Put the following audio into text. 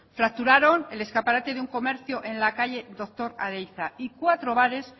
fracturaron el escaparate de un comercio en la calle doctor areilza y cuatro bares